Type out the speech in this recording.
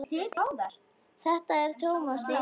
Þetta er Thomas Lang.